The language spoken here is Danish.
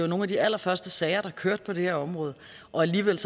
nogle af de allerførste sager der kørte på det her område og alligevel